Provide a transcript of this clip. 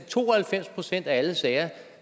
to og halvfems procent af alle sager